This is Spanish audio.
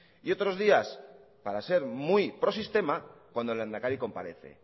y otros días para ser muy prosistema cuando el lehendakari comparece